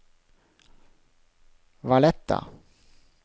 Valletta